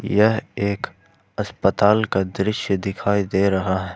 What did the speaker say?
यह एक अस्पताल का दृश्य दिखाई दे रहा है।